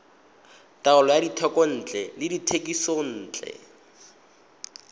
taolo ya dithekontle le dithekisontle